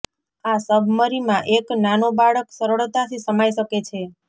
આ સબમરીમાં એક નાનો બાળક સરળતાથી સમાઈ શકે છે